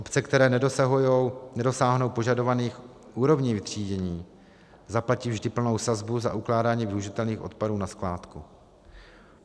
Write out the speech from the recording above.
Obce, které nedosáhnou požadovaných úrovní vytřídění, zaplatí vždy plnou sazbu za ukládání využitelných odpadů na skládku.